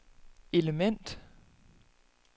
element